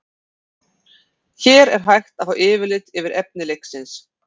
Hér er hægt er að fá yfirlit yfir efni leiksins.